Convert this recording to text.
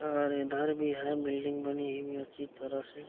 और इधर भी है बिल्डिंग बनी हुई है अच्छी तरह से --